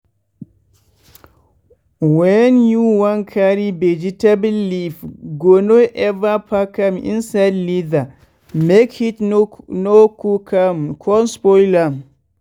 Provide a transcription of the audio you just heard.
wen you wan carry vegetable leaf go no ever pack am inside leather make heat no cook am con spoil am.